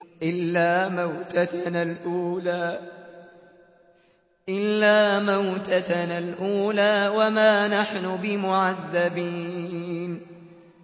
إِلَّا مَوْتَتَنَا الْأُولَىٰ وَمَا نَحْنُ بِمُعَذَّبِينَ